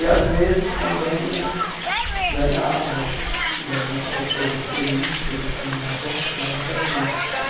E às vezes também né ganhava de algumas pessoas, alguns políticos né, queriam ganhar voto, dava para a gente.